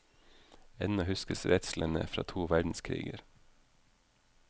Ennå huskes redslene fra to verdenskriger.